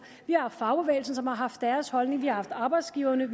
vi har fagbevægelsen som har haft deres holdning vi har haft arbejdsgiverne